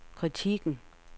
kritikken